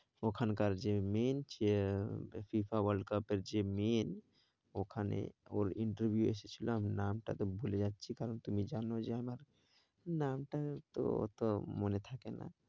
ওখানকার যে main FIFA world cup এর যে main ওখানে ওর interview এসেছিলো, আমি নামটা তোর ভুলে যাচ্ছি কারণ তুমি জানো যে আমার নামটা তো অত মনে থাকে না।